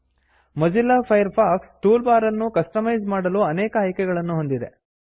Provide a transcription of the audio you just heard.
Mozilla Firefox toolbar ಅನ್ನು customise ಮಾಡಲು ಅನೇಕ ಆಯ್ಕೆಗಳನ್ನು ಹೊಂದಿದೆ